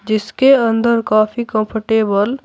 जिसके अंदर काफी कंफर्टेबल --